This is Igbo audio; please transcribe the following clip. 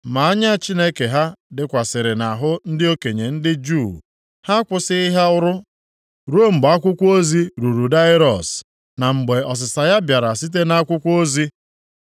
Ma anya Chineke ha dịkwasịrị nʼahụ ndị okenye ndị Juu, ha akwụsịghị ha ọrụ ruo mgbe akwụkwọ ozi ruru Daraiọs, na mgbe ọsịsa ya bịara site nʼakwụkwọ ozi.